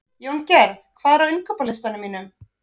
Jóngerð, hvað er á innkaupalistanum mínum?